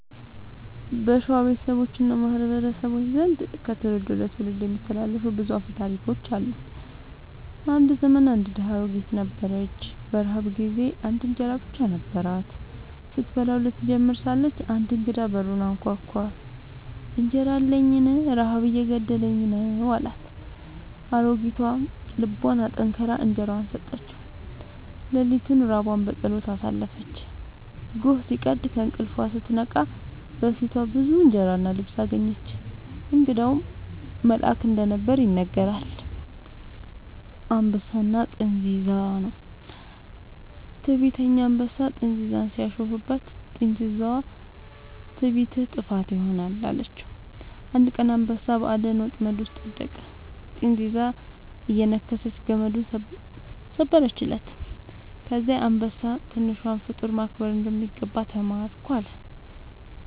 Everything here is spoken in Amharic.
በሸዋ ቤተሰቦች እና ማህበረሰቦች ዘንድ ከትውልድ ወደ ትውልድ የሚተላለፉ ብዙ አፈ ታሪኮች አሉ። አንድ ዘመን አንድ ድሃ አሮጊት ነበረች። በረሃብ ጊዜ አንድ እንጀራ ብቻ ነበራት። ስትበላው ልትጀምር ሳለች አንድ እንግዳ በሩን አንኳኳ፤ «እንጀራ አለኝን? ረሃብ እየገደለኝ ነው» አላት። አሮጊቷ ልቧን አጠንክራ እንጀራዋን ሰጠችው። ሌሊቱን ራቧን በጸሎት አሳለፈች። ጎህ ሲቀድ ከእንቅልፏ ስትነቃ በፊቷ ብዙ እንጀራ እና ልብስ አገኘች። እንግዳው መልአክ እንደነበር ይነገራል። «አንበሳና ጥንዚዛ» ነው። ትዕቢተኛ አንበሳ ጥንዚዛን ሲያሾፍባት፣ ጥንዚዛዋ «ትዕቢትህ ጥፋትህ ይሆናል» አለችው። አንድ ቀን አንበሳ በአደን ወጥመድ ውስጥ ወደቀ፤ ጥንዚዛዋ እየነከሰች ገመዱን ሰበረችለት። ከዚያ አንበሳ «ትንሿን ፍጡር ማክበር እንደሚገባ ተማርኩ» አለ